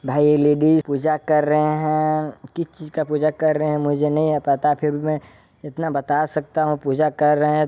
भाई ये लेडीज पूजा कर रहे है किस चीज का पूजा कर रहे है मुझे नहीं है पता फिर भी मै इतना बता सकता हूँ पूजा कर रहे है।